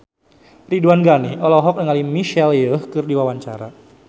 Ridwan Ghani olohok ningali Michelle Yeoh keur diwawancara